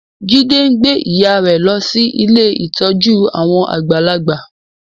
Ife ngbé ìyá rẹ ló sì Ilé ìtọjú àwọn àgbàlagbà.